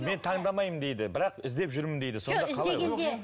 мен таңдамаймын дейді бірақ іздеп жүрмін дейді сонда қалай ол